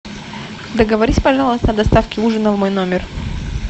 договорись пожалуйста о доставке ужина в мой номер